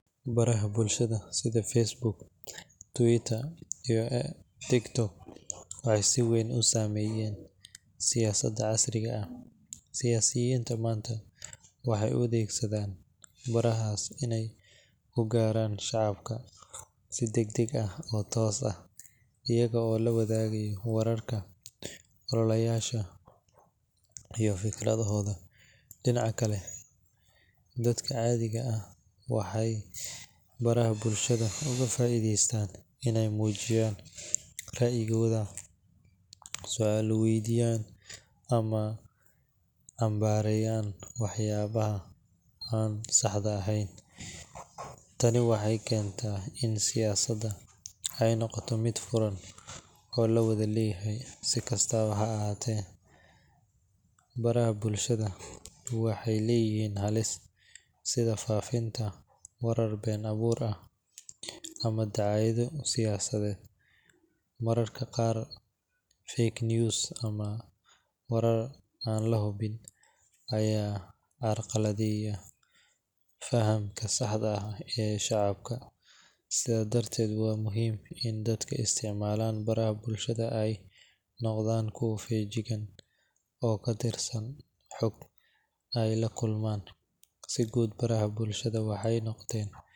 Baraha bulshada sida Facebook, Twitter, iyo TikTok waxay si weyn u saameeyeen siyaasadda casriga ah. Siyaasiyiinta maanta waxay u adeegsadaan barahaas inay ku gaaraan shacabka si degdeg ah oo toos ah, iyaga oo la wadaaga wararka, ololayaasha, iyo fikradahooda. Dhinaca kale, dadka caadiga ah waxay baraha bulshada uga faa’iidaystaan inay muujiyaan ra’yigooda, su’aalo weydiiyaan, ama cambaareeyaan waxyaabaha aan saxda ahayn. Tani waxay keentay in siyaasadda ay noqoto mid furan oo la wada leeyahay. Si kastaba ha ahaatee, baraha bulshada waxay leeyihiin halis, sida faafinta warar been abuur ah ama dacaayado siyaasadeed. Mararka qaar, fake news ama warar aan la hubin ayaa carqaladeeya fahamka saxda ah ee shacabka. Sidaas darteed, waa muhiim in dadka isticmaala baraha bulshada ay noqdaan kuwo feejigan oo ka fiirsada xogta ay la kulmaan. Si guud, baraha bulshada waxay noqdeen.